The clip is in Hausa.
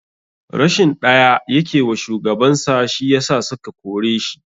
Rashin ɗaya yake wa shugaban sa shi yasa suka kore shi.